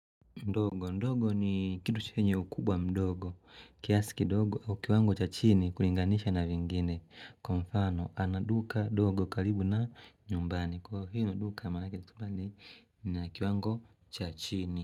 Ndogo ni kitu chenye ukubwa mdogo. Kiasi kidogo au kiwango cha chini kulinganisha na vingine. Kwa mfano, ana duka dogo karibu na nyumbani. Kwa hino duka manake kitu fulani kina kiwango cha chini.